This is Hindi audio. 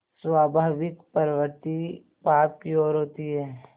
स्वाभाविक प्रवृत्ति पाप की ओर होती है